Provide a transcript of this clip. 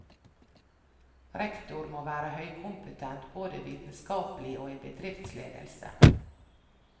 Rektor må være høykompetent både vitenskapelig og i bedriftsledelse.